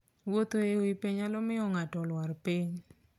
Wuotho e wi pe nyalo miyo ng'ato olwar piny.